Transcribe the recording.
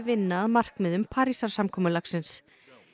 vinna að markmiðum Parísarsamkomulagsins